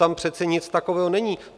Tam přece nic takového není.